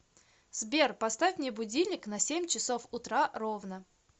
сбер поставь мне будильник на семь часов утра ровно